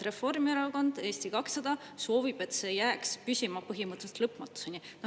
Reformierakond ja Eesti 200 soovib, et see jääks püsima põhimõtteliselt lõpmatuseni.